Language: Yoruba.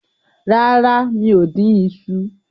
Rara, mi o din iṣu